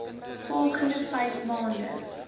volgende vyf maande